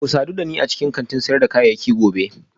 Ku sadu da ni a cikin kantin sayar da kayayyaki gobe